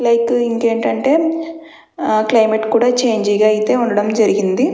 Like ఇంకేంటంటే climate కూడా change గా అయితే ఉండడం జరిగింది.